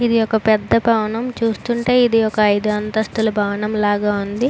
ఇది ఒక పెద్ద భవనం. చూస్తుంటే ఇది ఒక ఐదు అంతస్తుల భవనం లాగా ఉంది.